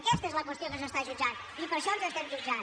aquesta és la qüestió que s’està jutjant i per això ens estan jutjant